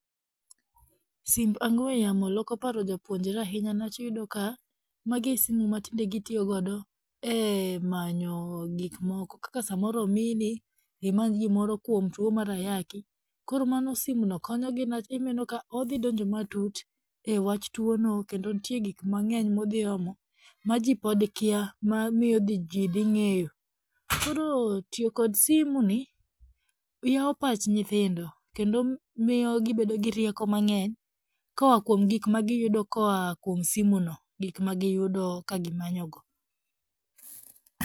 Simb ong'weyamo loko paro jopuonjre ahinya niwach iyudo ka magi e simu ma tinde gitiyogodo e manyo gikmoko, kaka samoro omiyi ni imany gimoro kwom two mar ayaki, koro mano simno konyogi niwach inenoka odhidonjo matut e wach twono kendo nitie gikmang'eny modhiomo ma jii pod kya mamiyo jii dhing'eyo, koro tiyo kod simu ni yawo pach nyithindo, kendo miyo gibedo gi rieko mang'eny koa kwom gikmagiyudo koa kwom simuno, gikmagiyudo ka gimanyogo.